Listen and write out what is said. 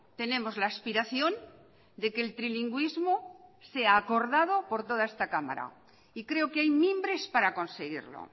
tenemos la aspiración de que el trilingüismo sea acordado por toda esta cámara y creo que hay mimbres para conseguirlo